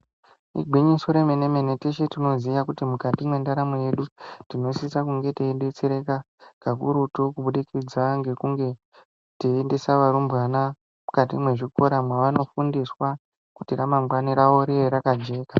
Igwinyiso remene-mene teshe tinoziya kuti mukati mwendaramo yedu tinosisa kunge teidetsereka. Kakurutu kubudikidza ngekunge teiendesa varumbwana mukati mwezvikora mwavanifundiswa kuti ramangwani rawo riye rakajeka.